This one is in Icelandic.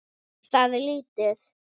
Það er lítið